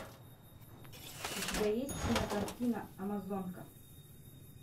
у тебя есть кинокартина амазонка